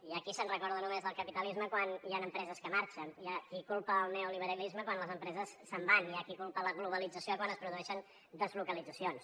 hi ha qui se’n recorda només del capitalisme quan hi han empreses que marxen hi ha qui culpa el neoliberalisme quan les empreses se’n van hi ha qui culpa la globalització quan es produeixen deslocalitzacions